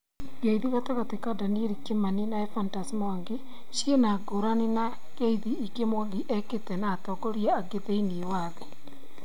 Ngeithi gatagatĩ ka Daniel Kimani na Ephantus Mwangi ciĩna ngũrani na ngeithi ingĩ Mwangi ekĩte na atongoria angĩ thiinĩĩ wa thĩ